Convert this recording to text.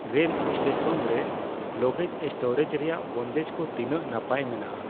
Rail station ᱨᱮ luggage storage ᱨᱮᱭᱟᱜ ᱵᱚᱱᱫᱮᱡ ᱠᱚ ᱛᱤᱱᱟᱹᱜ ᱱᱟᱯᱟᱭ ᱢᱮᱱᱟᱜᱼᱟ?